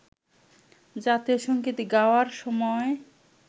জাতীয় সঙ্গীত গাওয়ার সময়